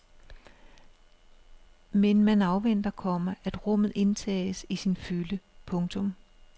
Men man afventer, komma at rummet indtages i sin fylde. punktum